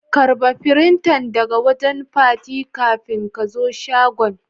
karba firintan daga wajen Fati kafin ka zo shagon.